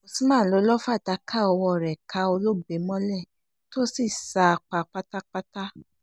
usman ló lọ́ọ́ fàdákà ọwọ́ rẹ̀ ká olóògbé mọ́lẹ̀ tó sì sá a pa pátápátá